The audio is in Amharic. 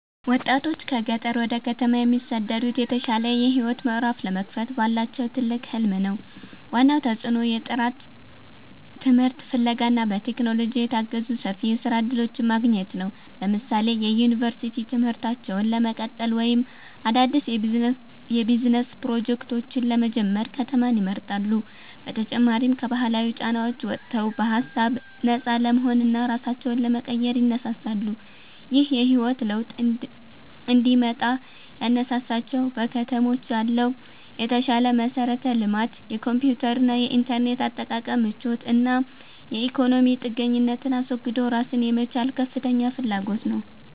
ወጣቶች ከገጠር ወደ ከተማ የሚሰደዱት የተሻለ የህይወት ምዕራፍ ለመክፈት ባላቸው ትልቅ ህልም ነው። ዋናው ተጽዕኖ የጥራት ትምህርት ፍለጋ እና በቴክኖሎጂ የታገዙ ሰፊ የስራ እድሎችን ማግኘት ነው። ለምሳሌ የዩኒቨርሲቲ ትምህርታቸውን ለመቀጠል ወይም አዳዲስ የቢዝነስ ፕሮጀክቶችን ለመጀመር ከተማን ይመርጣሉ። በተጨማሪም ከባህላዊ ጫናዎች ወጥተው በሃሳብ ነፃ ለመሆንና ራሳቸውን ለመቀየር ይነሳሳሉ። ይህ የህይወት ለውጥ እንዲመጣ ያነሳሳቸው በከተሞች ያለው የተሻለ መሠረተ ልማት፣ የኮምፒውተርና የኢንተርኔት አጠቃቀም ምቾት እና የኢኮኖሚ ጥገኝነትን አስወግዶ ራስን የመቻል ከፍተኛ ፍላጎት ነው